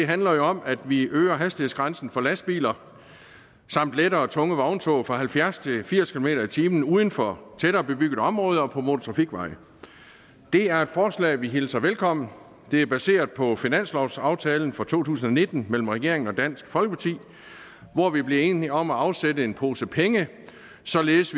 handler jo om at vi øger hastighedsgrænsen for lastbiler samt lette og tunge vogntog fra halvfjerds til firs kilometer per time uden for tættere bebygget område og på motortrafikveje det er et forslag vi hilser velkommen det er baseret på finanslovsaftalen for to tusind og nitten mellem regeringen og dansk folkeparti hvor vi blev enige om at afsætte en pose penge således